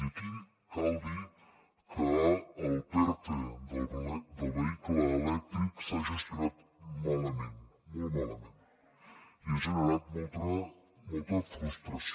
i aquí cal dir que el perte del vehicle elèctric s’ha gestionat malament molt malament i ha generat molta frustració